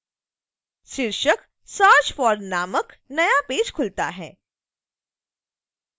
शीर्षक search for नामक नया पेज खुलता है